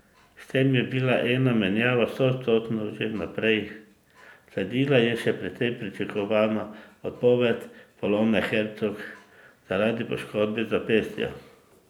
S tem je bila ena menjava stoodstotna že vnaprej, sledila je še precej pričakovana odpoved Polone Hercog zaradi poškodbe zapestja.